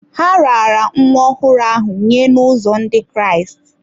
Ha raara nwa ọhụrụ ahụ nye n’ụzọ Ndị Kraịst.